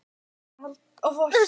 Kiddi, hvað er í dagatalinu í dag?